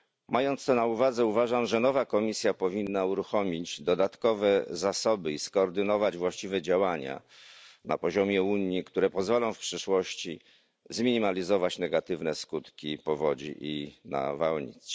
Mając to na uwadze, uważam że nowa komisja powinna uruchomić dodatkowe zasoby i skoordynować właściwe działania na poziomie Unii, które pozwolą w przyszłości zminimalizować negatywne skutki powodzi i nawałnic.